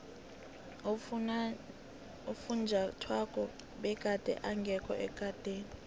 ufunjathwako begade engekho ekadeni